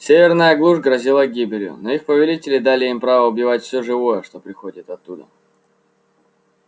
северная глушь грозила гибелью но их повелители дали им право убивать всё живое что приходит оттуда